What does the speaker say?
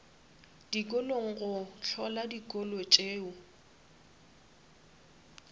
dikolong go hlola dikolo tšeo